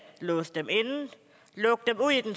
låse dem inde lukke dem ud i den